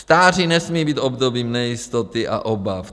Stáří nesmí být obdobím nejistoty a obav.